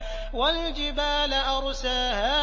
وَالْجِبَالَ أَرْسَاهَا